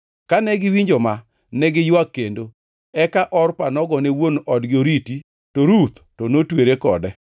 Kane giwinjo ma, ne giywak kendo. Eka Orpa nogone wuon odgi oriti, to Ruth to notwere kode.